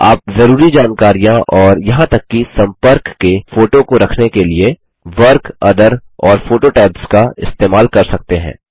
आप ज़रुरी जानकरियाँ और यहाँ तक कि सम्पर्क के फोटो को रखने के लिए वर्क ओथर और फोटो टैब्स का इस्तेमाल कर सकते हैं